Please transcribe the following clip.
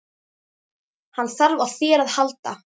Hann þarf á þér að halda.